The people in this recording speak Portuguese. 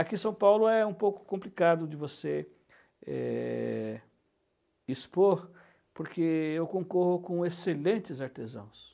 Aqui em São Paulo é um pouco complicado de você é, expor, porque eu concorro com excelentes artesãos.